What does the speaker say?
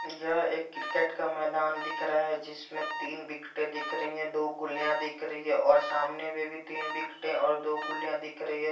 यह एक क्रिकेट का मैदान दिख रहा है जिसमे तीन विकेटे दिख रही है दो गुलिया दिख रही है और सामने में भी तीन विकेटे और दो गुलिया दिख रही है।